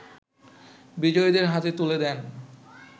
বিজয়ীদের হাতে তুলে দেন